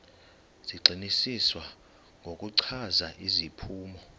zigxininiswa ngokuchaza iziphumo